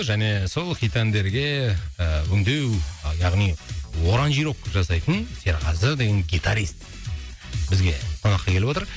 және сол хит әндерге ііі өңдеу яғни оранжировка жасайтын серғазы деген гитарист бізге қонаққа келіп отыр